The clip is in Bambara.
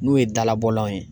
N'u ye dalabɔlanw ye